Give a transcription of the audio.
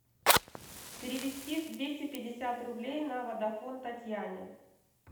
перевести двести пятьдесят рублей на водафон татьяне